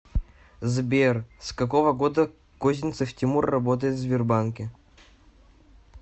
сбер с какого года козинцев тимур работает в сбербанке